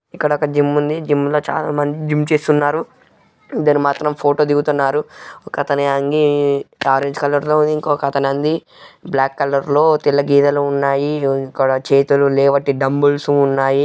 Gym ఉంది gym లో చాలామంది జిమ్ చేస్తున్నారు ఇద్దరు మాత్రం ఫోటో దిగుతున్నారు ఒకతని అంగీ ఆరెంజ్ కలర్ లో ఇంకొకతని అంగీ బ్లాక్ కలర్ లో తెల్ల గీతలున్నాయి ఇక్కడ చేతులు లేవట్టి డంబుల్ స్ ఉన్నాయి.